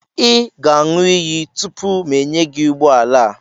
ị ga-aṅụ iyi tupu m enye gị ụgbọ ala a